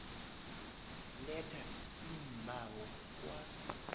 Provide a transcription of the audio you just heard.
letha iimbawo kwa